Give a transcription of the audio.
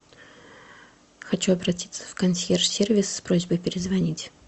хочу обратиться в консьерж сервис с просьбой перезвонить